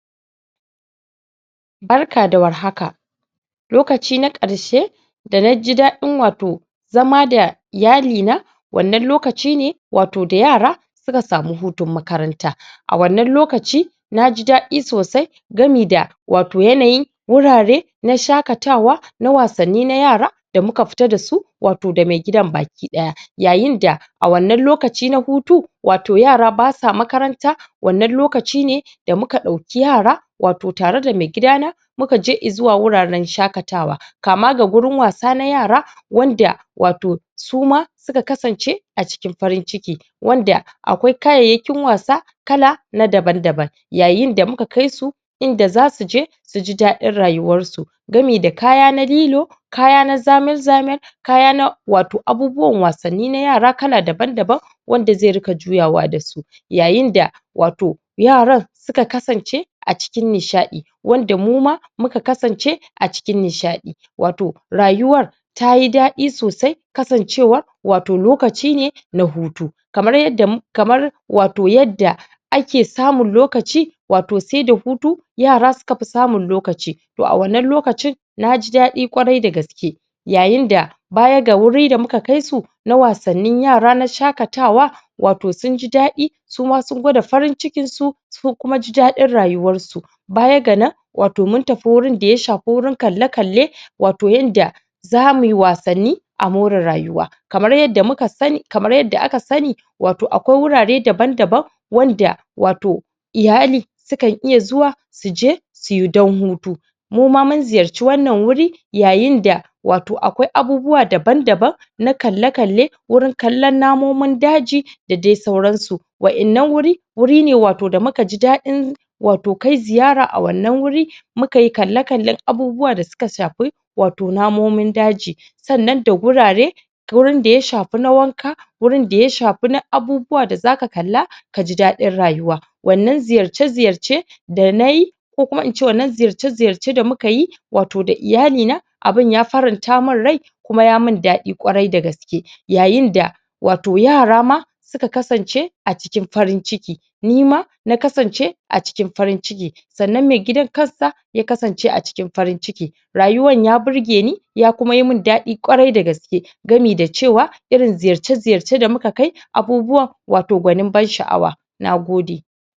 Barka da war haka, lokaci na karshe da naji daɗin wato, zama da iyali na, wannan lokacine, wato da yara, suka samu hutun makaranta a wannan lokaci naji daɗin sosai, gamida wato yanayin wurare na shaka tawa na wasanni na yara da muka fita dasu wato da me gidan baki ɗaya yayinda a wannan lokaci na hutu wato yara basa makaranta wannan lokacine da muka ɗauki yara wato tare da me gida na mukaje izuwa guraran shaƙatawa kamaga guraren wasa na yara wanda wato suma suka ka sance acikin farin ciki wanda akwai kayayakin wasa kala na daban daban yayinda da muka kaisu inda zasu je suji daɗin rayuwansu gamida kaya na lilo kaya na zamin zamin kaya na wato na abubuwan wasanni na yara kala daban daban wanda ze rika juyawa dasu, yayinda wato yaran suka kasance acikin nishaɗi wanda muma, muka kasance acikin nishaɗi, wato rayuwan tayi daɗi sosai kasancewan wato lokacine ne na hutu kamar yarda kamar wato yarda ake samun lokaci wato seda hutu yara suke samu lokaci to a wannan lokaci naji daɗi kwarai da gaske yayi da bayan ga wurin da muka kaisu na wasanni yara na shaƙatawa wato sunji daɗi suma sun gwada farin cikinsu sun kuma ji daɗin rayuwansu bayan ga nan, wato mun tafi wurin da ya shafi wurin kalle kalle wato yanda zamuyi wasanni amore rayuwa kamar yanda aka sani wato akwai wurare daban daban, wanda wato iyali sukan iya zuwa suje suyi dan hutu muma mun ziyarce wannan wuri yayin da wato akwai abubuwa daban daban na kalle kalle wurin kallan namomin daji, da dai sauransu wa'ƴannan huri, huri wato da muka ji daɗin wato kai ziyara a wannan wuri muka yi kallon kalle abubuwa da suka shafi wato na momin daji sannan da guraren hurin da ya shafi na wanka wurin da ya shafa na abubuwa da zaka kalla kaji daɗin rayuwa wannan ziyarce ziyarce da na yi rayuwa ko kuma ince wannan ziyarce ziyarce da muka wato da iyali na, abun ya faranta mun ryai kuma yamun daɗin ƙwarai da gaske yayin da wato yara ma suka kasance acikin farin ciki nima na kasance acikin farin ciki sannan me gidan kansa yakasance acikin farin ciki rayuwan ya birgeni ya kuma mun daɗin ƙwarai da gaske gami da cewa irin ziyarce ziyarcen da muka kai abubuwan wato gwanin nagode.